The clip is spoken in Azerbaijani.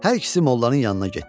Hər ikisi mollanın yanına getdi.